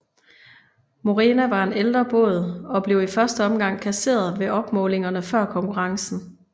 Morena var en en ældre båd og blev i første omgang kasseret ved opmålingerne før konkurrencen